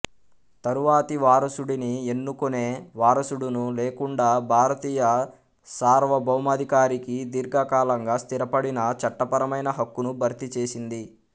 తరువాతి వారసుడిని ఎన్నుకునే వారసుడును లేకుండా భారతీయ సార్వభౌమాధికారికి దీర్ఘకాలంగా స్థిరపడిన చట్టపరమైన హక్కును భర్తీ చేసింది